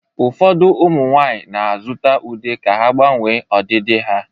Ụfọdụ ụmụ nwanyị na-azụta ude ka ha gbanwee ọdịdị ha